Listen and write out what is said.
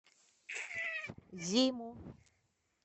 зиму